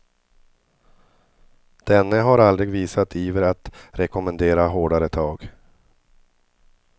Denne har aldrig visat iver att rekommendera hårdare tag.